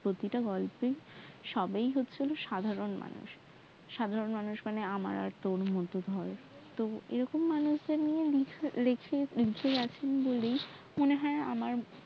প্রতিটা গল্পের সবাই হচ্ছে সাধারন মানুষ সাধারন মানুষ মানে আমার আর তোর মতো ধর তো এরকম মানুষ লেখা উজ্জ্বল আছে বলেই মনে হয়